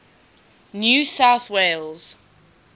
new south wales